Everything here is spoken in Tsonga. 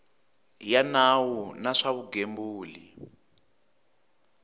ya nawu wa swa vugembuli